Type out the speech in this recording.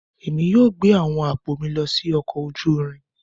Èmi yóò gbé àwọn àpò mi lọ sí ọkọ̀ ojú irin